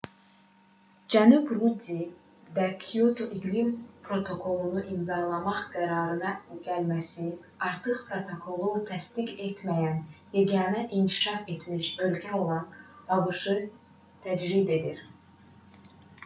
cənab ruddi də kioto iqlim protokolunu imzalamaq qərarına gəlməsi artıq protokolu təsdiq etməyən yeganə inkişaf etmiş ölkə olan abş-ı təcrid edir